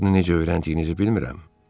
Bunu necə öyrəndiyinizi bilmirəm.